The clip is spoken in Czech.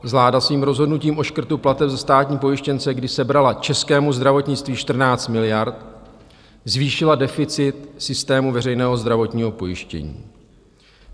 Vláda svým rozhodnutím o škrtu plateb za státní pojištěnce, kdy sebrala českému zdravotnictví 14 miliard, zvýšila deficit systému veřejného zdravotního pojištění.